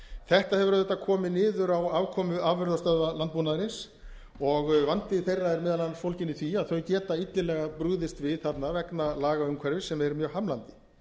þetta hefur auðvitað komið niður á afkomu afurðastöðva landbúnaðarins og vandi þeirra er meðal annars fólginn í því að þau geta illilega brugðist við þarna vegna lagaumhverfis sem er mjög hamlandi